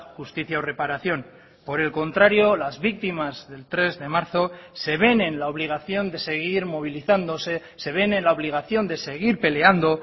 justicia o reparación por el contrario las víctimas del tres de marzo se ven en la obligación de seguir movilizándose se ven en la obligación de seguir peleando